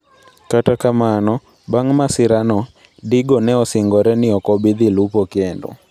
Kata kamano, bang ' masirano, Digo ne osingore ni ok obi dhi lupo kendo.